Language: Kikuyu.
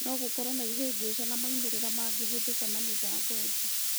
Nogũkorwo na ihĩngica na moimĩrĩra mangĩhũthika na mĩbango ingĩ.